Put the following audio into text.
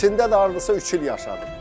İçində də hardasa üç il yaşayıb.